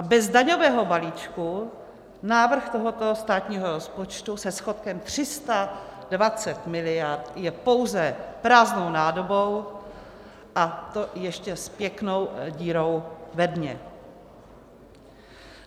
A bez daňového balíčku návrh tohoto státního rozpočtu se schodkem 320 miliard je pouze prázdnou nádobou, a to ještě s pěknou dírou ve dně.